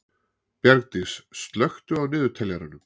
Bjargdís, slökktu á niðurteljaranum.